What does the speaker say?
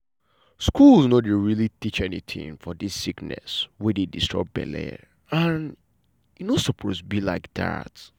schools no dey really teach anytin for dis sickness wey dey disturb belle and e no suppose be like dat.